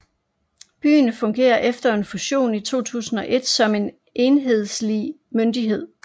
Byen fungerer efter en fusion i 2001 som en enhedslig myndighed